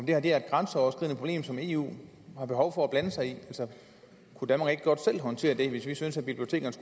det her er et grænseoverskridende problem som eu har behov for at blande sig i altså kunne danmark ikke godt selv håndtere det hvis vi syntes at bibliotekerne